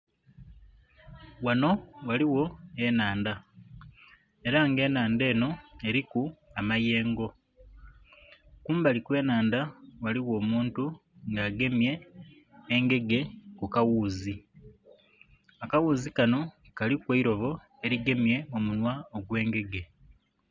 Ghanho ghaligho enhandha era nga enhandha enho eriku amayengo kumbali kwe nhandha, ghaligho omuntu nga agemye engege ku ka ghuuzi. Akaghuuzi kanho kaliku eirobo erigemye omunhwa gwe engege.